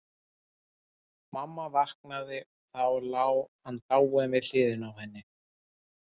Mamma vaknaði og þá lá hann dáinn við hliðina á henni.